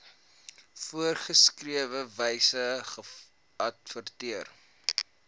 voorgeskrewe wyse geadverteer